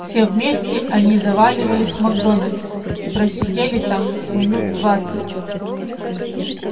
все вместе они заваливались в макдоналдс и просидели там минут двадцать